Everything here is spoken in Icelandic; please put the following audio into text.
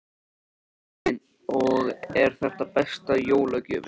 Hafsteinn: Og er þetta besta jólagjöfin?